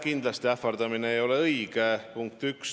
Kindlasti ähvardamine ei ole õige – punkt 1.